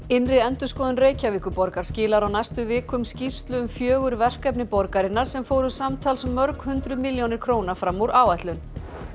innri endurskoðun Reykjavíkurborgar skilar á næstu vikum skýrslu um fjögur verkefni borgarinnar sem fóru samtals mörg hundruð milljónir króna fram úr áætlun